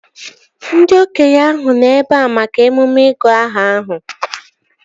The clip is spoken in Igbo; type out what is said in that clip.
Ndị okenye ahụ nọ ebea maka emume ịgụ aha ahụ